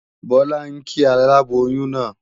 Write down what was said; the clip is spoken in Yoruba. Bọ́lá ń kí aláboyún náà